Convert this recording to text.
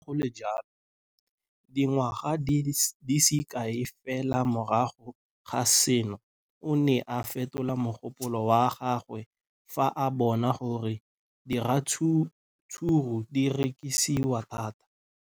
Le fa go le jalo, dingwaga di se kae fela morago ga seno, o ne a fetola mogopolo wa gagwe fa a bona gore diratsuru di rekisiwa thata.